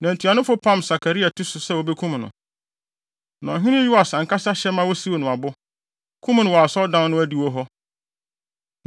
Na ntuanofo no pam Sakaria ti so sɛ wobekum no. Na ɔhene Yoas ankasa hyɛ ma wosiw no abo, kum no wɔ Asɔredan no adiwo hɔ.